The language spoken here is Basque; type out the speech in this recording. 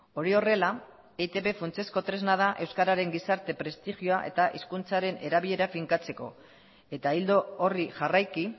hori horrela eitb funtsezko tresna da euskararen gizarte prestigioa eta hizkuntzaren erabilera finkatzeko eta ildo horri jarraiki